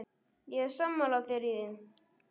Ég er sammála þér í því.